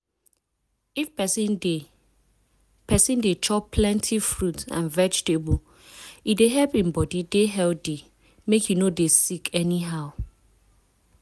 if persin dey persin dey chop plenty fruit and vegetable e dey help hin body dey healthy make e no dey sick anyhow.